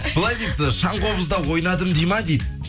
былай дейді шаңқобызда ойнадым дейді ма дейді